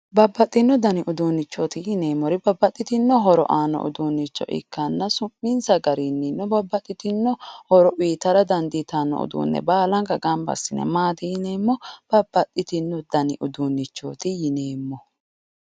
Babbaxino danni uduunichoti yinneemmori babbaxitino horo aannoha ikkanna su'minsa garinni babbaxxitino horo uyittara dandiittano uduune baallanka gamba assine maati yinneemmo, babbaxxitino dani uduunichoti yinneemmo.